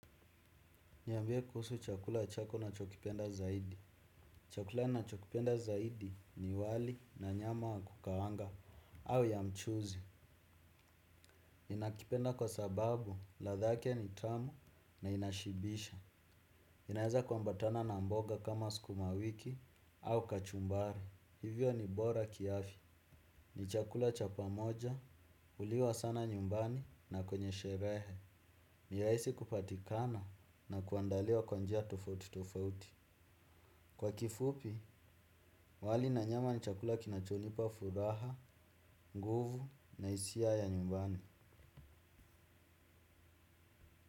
Niambie kuhusu chakula chako una chokipenda zaidi. Chakula na chokipenda zaidi ni wali na nyama wa kukawanga au ya mchuzi. ninakipenda kwa sababu, ladhake ni tamu na inashibisha. Inaeza kwambatana na mboga kama sukuma wiki au kachumbari. Hivyo ni bora kiafya. Ni chakula cha pamoja, uliwa sana nyumbani na kwenye sherehe. Ni rahisi aisi kupatikana na kuandaliwa kwanjia tofauti tofauti. Kwa kifupi, wali nanyama ni chakula kinachonipa furaha, nguvu na hisia ya nyumbani.